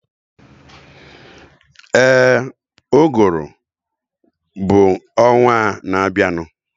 Éè, uguru bụ ọnwaa na abianu